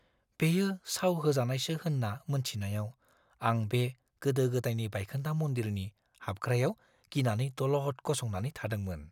बेयो साव होजानायसो होन्ना मोन्थिनायाव आं बे गोदो-गोदायनि बायखोन्दा मन्दिरनि हाबग्रायाव गिनानै दलद गसंनानै थादोंमोन।